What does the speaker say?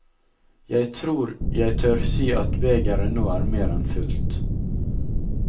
Jeg tror jeg tør si at begeret nå er mer enn fullt.